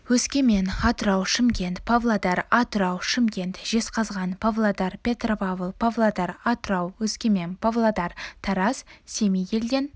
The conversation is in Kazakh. өскемен атырау шымкент павлодар атырау шымкент жезқазған павлодар петропавл павлодар атырау өскемен павлодар тараз семей елден